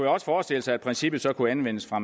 også forestille sig at princippet så kunne anvendes fra